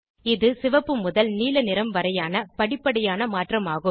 இது சிவப்பு முதல் நீல நிறம் வரையான படிப்படியான மாற்றம் ஆகும்